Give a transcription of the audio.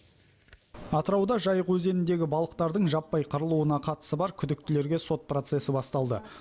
атырауда жайық өзеніндегі балықтардың жаппай қырылуына қатысы бар күдіктілерге сот процесі басталды